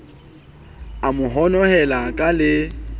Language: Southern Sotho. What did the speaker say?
a mo honohela ka le